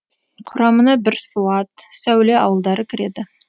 құрамына бірсуат сәуле ауылдары кіреді